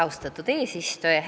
Austatud eesistuja!